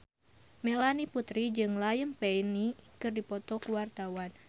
Melanie Putri jeung Liam Payne keur dipoto ku wartawan